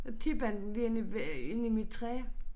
Så tippede han den lige ind i øh ind i mit træ